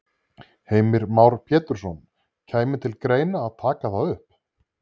Heimir Már Pétursson: Kæmi til greina að taka það upp?